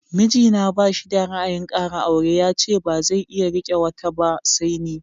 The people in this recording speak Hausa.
Mijina ba shi da ra'ayin ƙara aure, yace bazai iya riƙe wata ba sai ni.